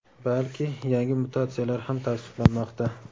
balki yangi mutatsiyalar ham tavsiflanmoqda.